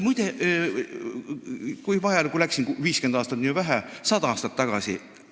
Muide, läheks – 50 aastat on vähe – 100 aastat tagasi.